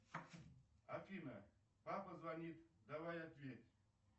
афина папа звонит давай ответь